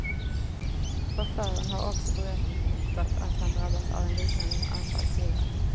Chauffören har också berättat att han drabbats av ett liknande anfall tidigare.